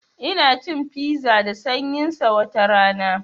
Ina cin fiza da sanyin sa watarana